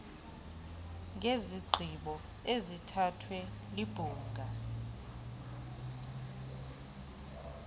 ngezigqibo ezithathwe libhunga